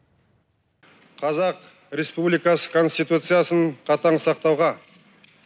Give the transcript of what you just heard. қазақ республикасы конституциясын қатаң сақтауға